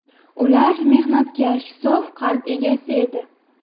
Ular mehnatkash, sof qalb egasi edi.